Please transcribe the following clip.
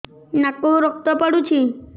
ନାକରୁ ରକ୍ତ ପଡୁଛି